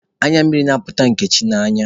Anya mmiri na-apụta Nkechi n'anya.